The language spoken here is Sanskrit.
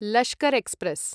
लश्कर् एक्स्प्रेस्